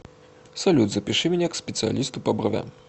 салют запиши меня к специалисту по бровям